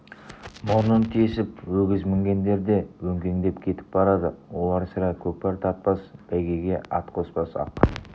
мұрнын тесіп өгіз мінгендер де өңкеңдеп кетіп барады олар сірә көкпар тартпас бәйгеге ат қоспас ақ